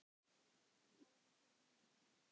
SKÚLI: Fáðu þér vindil.